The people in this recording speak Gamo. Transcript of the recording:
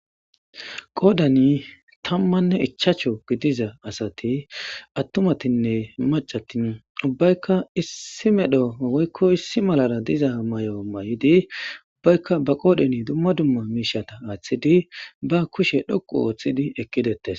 Qoddani tamane ichashu gidida asati atumatine maccati ubbayikka issi medho issi mela diza mayo mayidi ba qodhe duma duma mishata athidi ba kushe dhoqu othidi eqidetesi